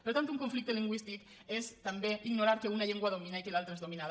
per tant un conflicte lingüístic és també ignorar que una llengua domina i que l’altra és dominada